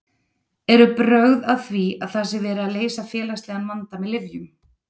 Eru brögð að því að það sé verið að leysa félagslegan vanda með lyfjum?